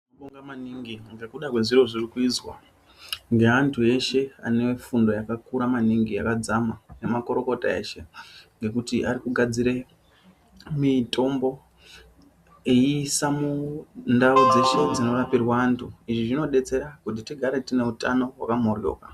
Tinobonga maningi ngekuda ngezviro zvirikuizwa ngeantu eshe akafunda enefundo yakakura maningi yakadzama nemakurukota eshe ngekuti ari kugadzira mitombo yeisa mundau dzeshe dzinorapirwa antu izvi zvinodetsera kuti tigare tine utano hwakamhodhloka.